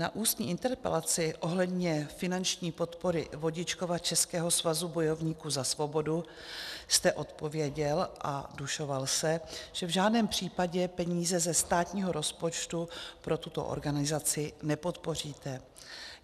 Na ústní interpelaci ohledně finanční podpory Vodičkova českého svazu bojovníků za svobodu jste odpověděl a dušoval se, že v žádném případě peníze ze státního rozpočtu pro tuto organizaci nepodpoříte.